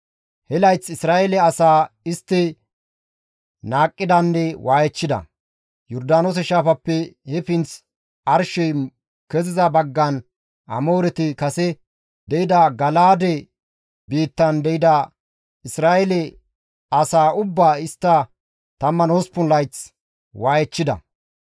He layth Isra7eele asaa istti qohidanne waayechchida. Yordaanoose shaafappe he pinth arshey keziza baggan Amooreti kase de7ida Gala7aade biittan de7ida Isra7eele asaa ubbaa istti 18 layth waayechchida.